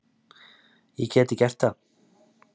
Ég gæti gert það.